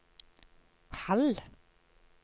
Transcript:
halv